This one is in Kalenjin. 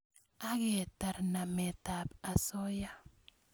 Ak ketar nametab osoya